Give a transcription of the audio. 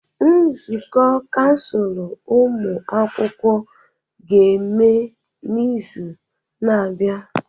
Nzukọ kansụl ụmụ akwụkwọ ga-eme n'izu na-abịa.